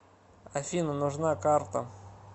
афина нужна карта